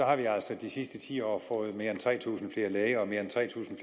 har vi altså de sidste ti år fået mere end tre tusind flere læger og mere end tre tusind